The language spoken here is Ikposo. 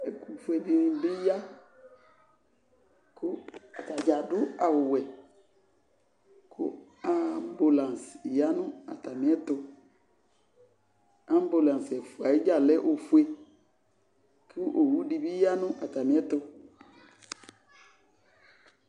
ɛto fue di ni bi ya ko atadza ado awu wɛ ko ambulance ya no atamiɛto ambulance ɛfua yɛ dza lɛ ofue ko owu di bi ya no atamiɛto